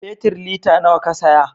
Fetir lita nawa Ka saya